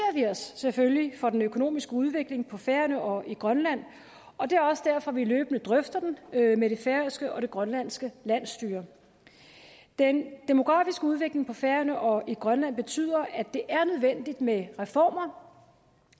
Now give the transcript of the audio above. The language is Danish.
vi os selvfølgelig for den økonomiske udvikling på færøerne og i grønland og det er også derfor at vi løbende drøfter den med det færøske og det grønlandske landsstyre den demografiske udvikling på færøerne og i grønland betyder at det er nødvendigt med reformer